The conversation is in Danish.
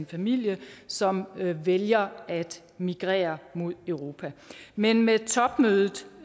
familie som vælger at migrere mod europa men med topmødet